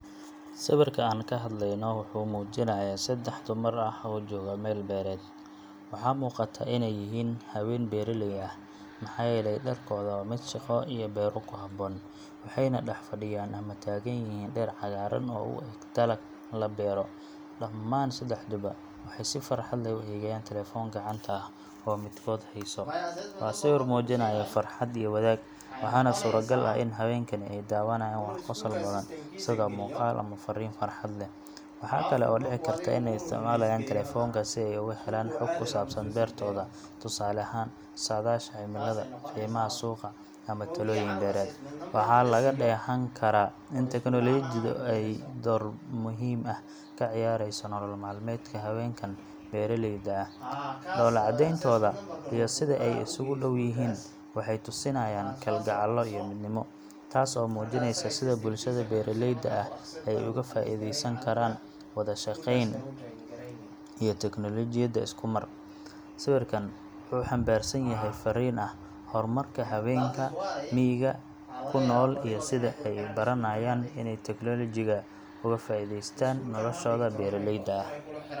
Sawirka aan ka hadlayno wuxuu muujinayaa saddex dumar ah oo jooga meel beereed. Waxaa muuqata inay yihiin haween beeraley ah, maxaa yeelay dharkooda waa mid shaqo iyo beero ku habboon, waxayna dhex fadhiyaan ama taagan yihiin dhir cagaaran oo u eg dalag la beero. Dhammaan saddexduba waxay si farxad leh u eegayaan taleefan gacanta ah oo midkood hayso. Waa sawir muujinaya farxad iyo wadaag, waxaana suuragal ah in haweenkani ay daawanayaan wax qosol badan sida muuqaal ama fariin farxad leh. Waxaa kale oo dhici karta in ay isticmaalayaan taleefanka si ay uga helaan xog ku saabsan beertooda—tusaale ahaan, saadaasha cimilada, qiimaha suuqa, ama talooyin beereed. Waxaa laga dheehan karaa in teknoolojiyadu ay door muhiim ah ka ciyaarayso nolol maalmeedka haweenkan beeraleyda ah. Dhoolla cadeyntooda iyo sida ay isugu dhow yihiin waxay tusinayaan kalgacal iyo midnimo, taas oo muujinaysa sida bulshada beeraleyda ah ay uga faa’iideysan karaan wada shaqeyn iyo teknoolojiyad isku mar. Sawirkan wuxuu xambaarsan yahay farriin ah horumarka haweenka miyiga ku nool iyo sida ay u baranayaan inay tiknoolajiga uga faa’iidaystaan noloshooda beeraleyda ah.